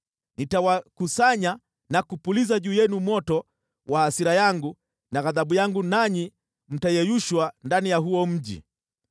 Nitawakusanya na kupuliza juu yenu moto wa hasira yangu na ghadhabu yangu nanyi mtayeyushwa ndani ya huo mji.